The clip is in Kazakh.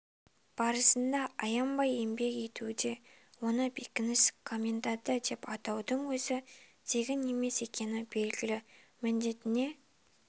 барысында аянбай еңбек етуде оны бекініс коменданты деп атаудың өзі тегін емес екені белгілі міндетіне